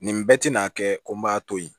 Nin bɛɛ tɛna kɛ ko n b'a to yen